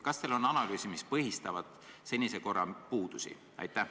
Kas teil on tehtud analüüs, mis viitab senise korra puudustele?